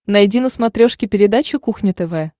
найди на смотрешке передачу кухня тв